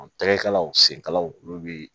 Tɛgɛkalaw senkalaw olu bi